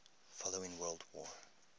following world war